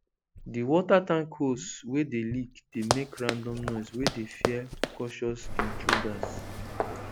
the water tank hose wey dey leak dey make random noise wey dey fear cautious intruders